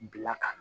Bila ka na